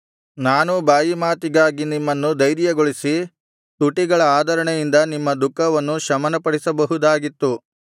ನಾನೂ ಬಾಯಿಮಾತಿಗಾಗಿ ನಿಮ್ಮನ್ನು ಧೈರ್ಯಗೊಳಿಸಿ ತುಟಿಗಳ ಆದರಣೆಯಿಂದ ನಿಮ್ಮ ದುಃಖವನ್ನು ಶಮನಪಡಿಸಬಹುದಾಗಿತ್ತು